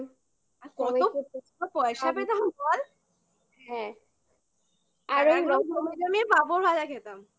আর কত পয়সা পেতাম বল হ্যাঁ আর ওই পাঁপড় ভাজা খেতাম